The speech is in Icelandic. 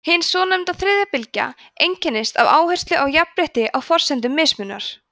hin svonefnda „þriðja bylgja“ einkennist af áherslu á jafnrétti á forsendum mismunar